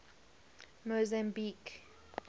mozambique